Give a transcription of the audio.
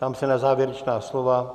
Ptám se na závěrečná slova.